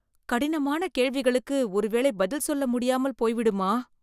கடினமான கேள்விகளுக்கு ஒரு வேளை பதில் சொல்ல முடியாமல் போய்விடுமா